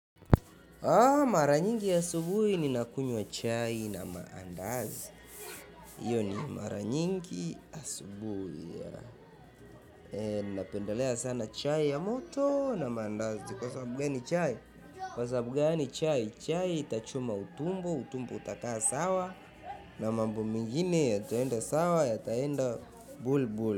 Mara nyingi asubuhi ni nakunywa chai na maandazi hiyo ni mara nyingi asubuhi napendelea sana chai ya moto na maandazi kwa sababu mimi chai kwa sababu gani chai? Chai itachoma utumbo, utumbo utakaa sawa na mambo mingine yataenda sawa yataenda bulbul.